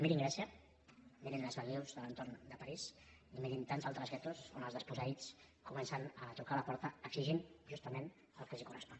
mirin grècia mirin les banlieues de l’entorn de parís i mirin tants altres guetos on els desposseïts comencen a trucar a la porta exigint justament el que els correspon